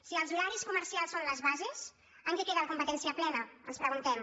si els horaris comercials són les bases en què queda la competència plena ens preguntem